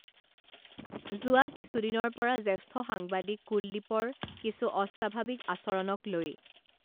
যোৱা কিছুদিনৰ পৰা জ্যেষ্ঠ সাংবাদিক কুলদীপৰ কিছু অস্বাৱাভিক আচৰণক লৈ